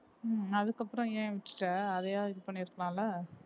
ஹம் அதுக்கப்புறம் ஏன் விட்டுட்ட அதையாவது இது பண்ணியிருக்கலாம்ல